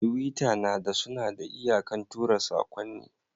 tiwita nada Sunada iyakan tura sakonni.